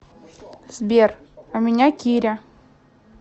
сбер а меня киря